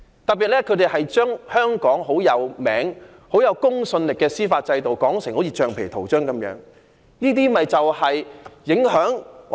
特別是他們把香港見稱於國際並具公信力的司法制度說成如橡皮圖章一樣。